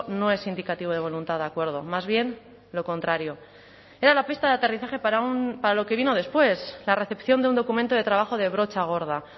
no es indicativo de voluntad de acuerdo más bien lo contrario era la pista de aterrizaje para lo que vino después la recepción de un documento de trabajo de brocha gorda